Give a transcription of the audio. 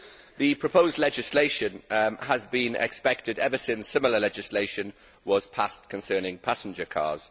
The proposed legislation has been expected ever since similar legislation was passed concerning passenger cars.